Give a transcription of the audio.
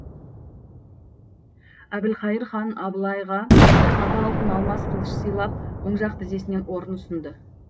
әбілқайыр хан абылайға сабы алтын алмас қылыш сыйлап оң жақ тізесінен орын ұсынды